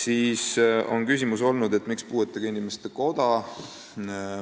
On olnud küsimus, miks on siin kirjas puuetega inimeste koda.